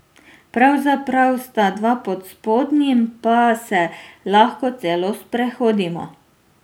Pravzaprav sta dva, pod spodnjim pa se lahko celo sprehodimo.